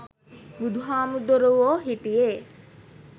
බුදු හාමුදුරුවෝ හිටියේ